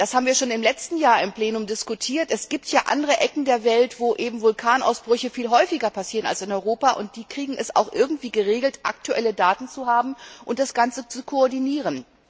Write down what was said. Denn das haben wir schon letztes Jahr im Plenum diskutiert es gibt ja andere Teile der Welt, wo sich Vulkanausbrüche viel häufiger ereignen als in Europa, und die schaffen es auch irgendwie, aktuelle Daten zu haben und das Ganze zu koordinieren.